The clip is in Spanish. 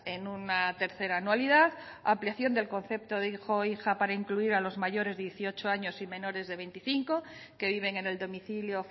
en una tercera anualidad ampliación del concepto de hijo o hija para incluir a los mayores de dieciocho años y menores de veinticinco que viven en el domicilio